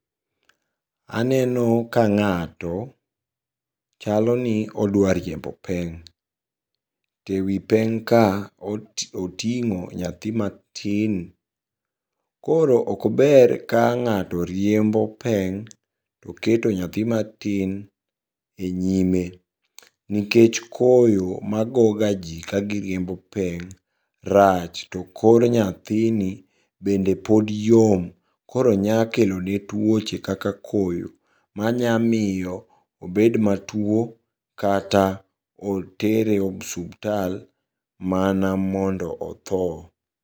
Aneno ka ng'ato chaloni odwa riembo peng'. To e wi peng' ka oting'o nyathi matin. Koro okber ka ng'ato riembo peng' toketo nyathi matin e nyime, nikech koyo magoga jii kagiriembo peng' rach to kor nyathini bende pod yom, koro nyakelone tuoche kaka koyo manyamiyo obed matuo, kata otere osubtal mana mondo othoo.